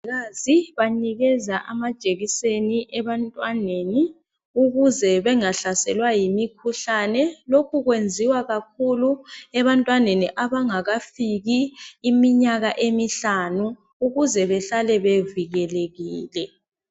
Omongikazi banikeza amajekiseni ebantwaneni ukuze bengahlaselwa yimikhuhlane. Lokhu kwenziwa kakhulu ebantwaneni abangakafiki iminyaka emihlanu ukuze bahlale bevikelekile.